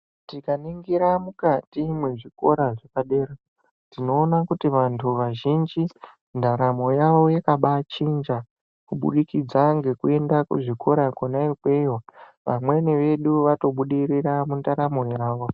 Tikaningira mukati mwezvikora zvepadera tinoona kuti vantu vazhinji ndaramo yavo yakabai chinja kubudikidza ngekuenda kuzvikora kona ikweyo vamweni vedu vatobudirira mundaramo yavo.